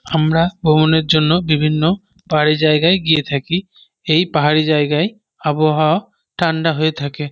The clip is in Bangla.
আমরা ভ্রমণের জন্য বিভিন্ন পাহাড়ি জায়গায় গিয়ে থাকি । এই পাহাড়ি জায়গায় আবহাওয়া ঠান্ডা হয়ে থাকে।